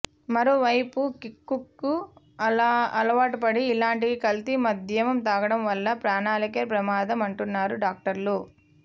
మరోవైపు కిక్కుకు అలావాటుపడి ఇలాంటి కల్తీ మద్యం తాగడం వల్ల ప్రాణాలకే ప్రమాదం అంటున్నారు డాక్టర్లు